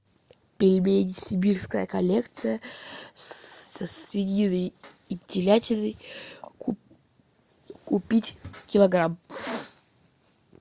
пельмени сибирская коллекция со свининой и телятиной купить килограмм